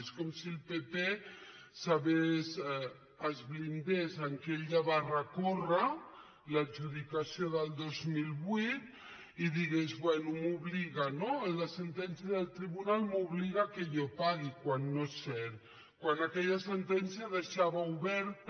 és com si el pp es blindés en el fet que ell ja va recórrer l’adjudicació del dos mil vuit i digués bé m’obliga no la sentència del tribunal m’obliga perquè jo pagui quan no és cert quan aquella sentència deixava oberta